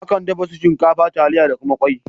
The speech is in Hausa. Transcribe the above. Akan dafa su shinkafa, taliya ta kuma kwai